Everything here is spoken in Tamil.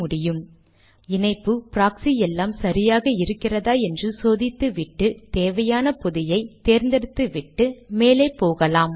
வலை இணைப்பை அமைத்துவிட்டு இணைப்பு ப்ராக்ஸி எல்லாம் சரியாக இருக்கிறதா என்று சோதித்துவிட்டு தேவையான பொதியை தேர்ந்தெடுத்துவிட்டு மேலே போகலாம்